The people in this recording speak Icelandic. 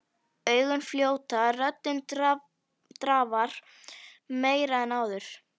Augun fljóta, röddin drafar meira en áður.